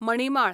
मणिमाळ